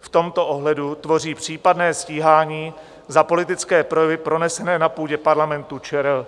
v tomto ohledu tvoří případné stíhání za politické projevy pronesené na půdě Parlamentu ČR."